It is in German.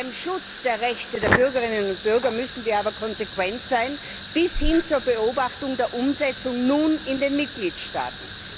Beim Schutz der Rechte der Bürgerinnen und Bürger müssen wir aber konsequent sein bis hin zur Beobachtung der Umsetzung in den Mitgliedstaaten.